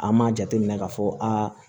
An m'a jateminɛ ka fɔ aa